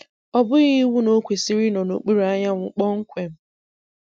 ọ bughị iwu na o kwesịrị ịnọ n'okpuru anyanwụ kpọmkwem